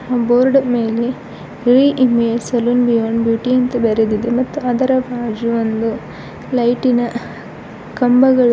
board ಮೇಲೆ re- image salon beyond beauty ಅಂತ ಬರೆದಿದೆ ಮತ್ ಅದರ ಬಾಜು ಒಂದು ಲೈಟಿನ ಕಂಬಗ--